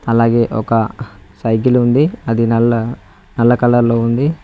అలాగే ఒక సైకిల్ ఉంది అది నల్ల నల్ల కలర్ లో ఉంది.